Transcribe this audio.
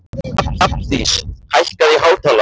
Hrafndís, hækkaðu í hátalaranum.